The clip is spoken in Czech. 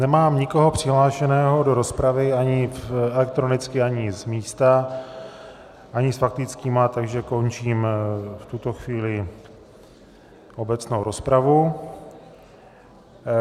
Nemám nikoho přihlášeného do rozpravy ani elektronicky ani z místa ani s faktickými, takže končím v tuto chvíli obecnou rozpravu.